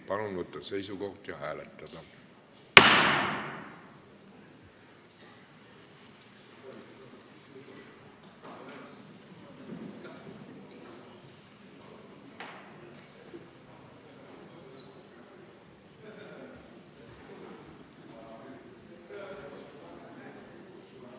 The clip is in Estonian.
Palun võtta seisukoht ja hääletada!